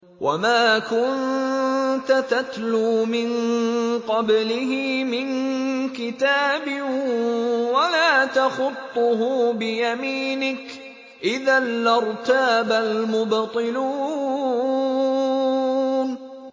وَمَا كُنتَ تَتْلُو مِن قَبْلِهِ مِن كِتَابٍ وَلَا تَخُطُّهُ بِيَمِينِكَ ۖ إِذًا لَّارْتَابَ الْمُبْطِلُونَ